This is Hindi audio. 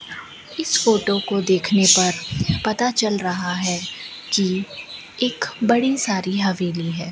इस फोटो को देखने पर पता चल रहा है कि एक बड़ी सारी हवेली है।